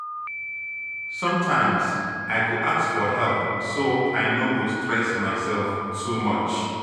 Sometimes, I go ask for help so I no go stress myself too much.